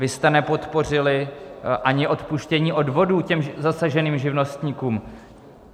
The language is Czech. Vy jste nepodpořili ani odpuštění odvodů těm zasaženým živnostníkům.